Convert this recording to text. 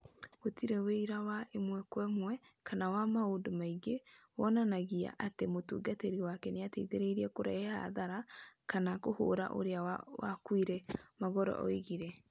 "Gũtirĩ ũira wa ĩmwe kwa ĩmwe kana wa maũndũ mangĩ wonanagia atĩ mũtungatĩri wake nĩ aateithirie kũrehe hathara kana kũhũũra ũrĩa wakuire," Magolo oigire.